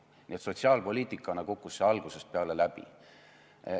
Nii et sotsiaalpoliitikana kukkus see algusest peale läbi.